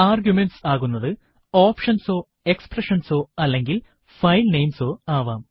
arguments ആകുന്നതു options ഓ expressions ഓ അല്ലെങ്കിൽ ഫൈൽ നെയിംസ് ഓ ആവാം